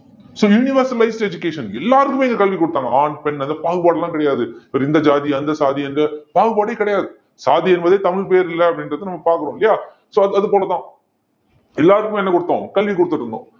so universal wise education எல்லாருக்குமே இங்க கல்வி குடுத்தாங்க ஆண் பெண் அந்த பாகுபாடு எல்லாம் கிடையாது இவர் இந்த ஜாதி அந்த ஜாதி எந்த பாகுபாடே கிடையாது சாதி என்பதே தமிழ் பெயரில்லை அப்படின்றதை நம்ம பார்க்கிறோம் இல்லையா so அது போலதான் எல்லாருக்குமே என்ன கொடுத்தோம் கல்வி கொடுத்திட்டிருந்தோம்